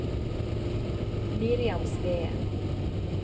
Miriam Sveen